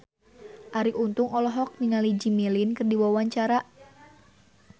Arie Untung olohok ningali Jimmy Lin keur diwawancara